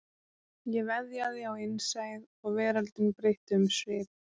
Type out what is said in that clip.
Ég veðjaði á innsæið og veröldin breytti um svip